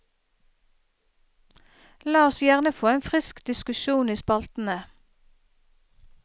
La oss gjerne få en frisk diskusjon i spaltene.